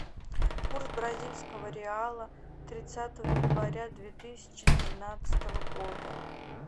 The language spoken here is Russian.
курс бразильского реала тридцатого января две тысячи тринадцатого года